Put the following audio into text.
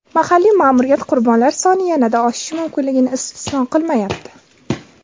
Mahalliy ma’muriyat qurbonlar soni yanada oshishi mumkinligini istisno qilmayapti.